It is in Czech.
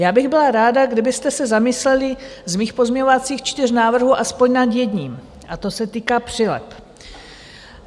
Já bych byla ráda, kdybyste se zamysleli z mých pozměňovacích čtyř návrhů aspoň nad jedním a to se týká přileb.